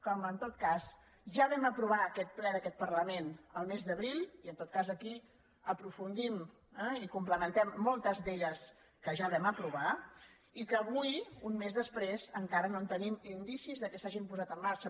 com en tot cas ja vam aprovar aquest ple d’aquest parlament el mes d’abril i en tot cas aquí aprofundim eh i comple·mentem moltes d’elles que ja vam aprovar i que avui un mes després encara no tenim indicis que s’ha·gin posat en marxa